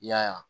I y'a ye